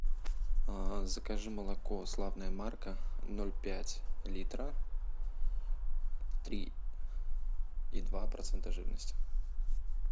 закажи молоко славная марка ноль пять литра три и два процента жирности